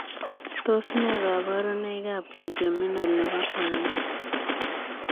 Tos nee kabarunoik ap Trigeminal nepo kwangeet?